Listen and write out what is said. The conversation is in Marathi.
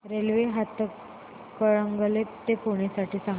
रेल्वे हातकणंगले ते पुणे साठी सांगा